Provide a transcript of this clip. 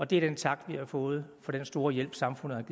det er den tak vi har fået for den store hjælp samfundet